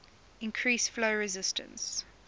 increase flow resistance